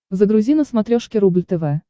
загрузи на смотрешке рубль тв